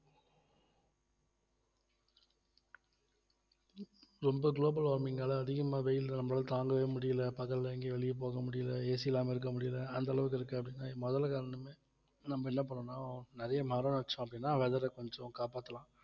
ரொம்ப global warming ஆல அதிகமா வெயில் நம்மளால தாங்கவே முடியலை பகல்ல எங்கயும் வெளிய போக முடியல AC இல்லாம இருக்க முடியல அந்த அளவுக்கு இருக்கு அப்படின்னா முதல காரணமே நம்ம என்ன பண்ணணும் நிறைய மரம் வச்சோம் அப்படின்னா weather அ கொஞ்சம் காப்பாத்தலாம்